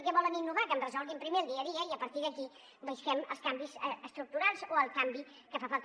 què volen innovar que em resolguin primer el dia a dia i a partir d’aquí busquem els canvis estructurals o el canvi que fa falta